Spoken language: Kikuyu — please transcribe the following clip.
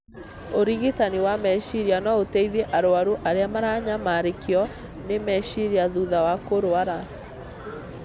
Ũrigitani wa meciria no ũteithie arũaru arĩa maranyamarĩkio nĩ meciria thutha wa kũrũara.